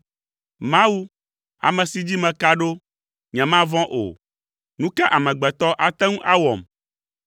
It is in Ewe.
Mawu, ame si dzi meka ɖo; nyemavɔ̃ o. Nu ka amegbetɔ ate ŋu awɔm?